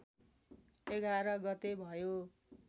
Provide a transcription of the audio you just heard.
११ गते भयो